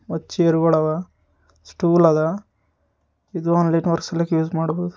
ಮತ್ ಚೇರ್ ಗೊಳ ಅವ ಸ್ಟೂಲ್ ಅದ ಇದ್ ಒಂದ್ ಯೂಸ್ ಮಾಡಬೋದ.